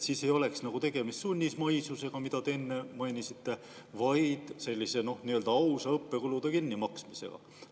Siis ei oleks tegemist sunnismaisusega, mida te enne mainisite, vaid ausa õppekulude kinnimaksmisega.